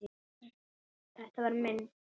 Þetta var minn.